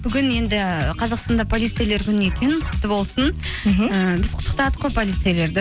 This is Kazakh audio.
бүгін енді қазақстанда полицейлер күні екен құтты болсын мхм ііі біз құттықтадық қой полицейлерді